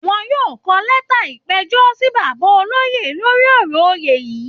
Wọ́n yóò kọ lẹ́ta ìpẹ̀jọ́ sí bàbá olóyè lórí ọ̀rọ̀ oyè yìí